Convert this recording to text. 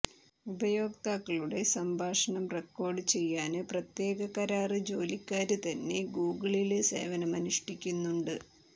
ഉപയോക്താക്കളുടെ സംഭാഷണം റെക്കോര്ഡ് ചെയ്യാന് പ്രത്യേക കരാര് ജോലിക്കാര്തന്നെ ഗൂഗിളില് സേവനമനുഷ്ഠിക്കുന്നുണ്ട്